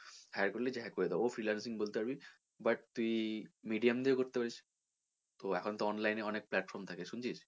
hire করলে যে hire করে দেবো freelancing বলতে পারবি but তুই medium দের করতে পারিস তো এখন তো online এ অনেক platform থাকে শুনছিস?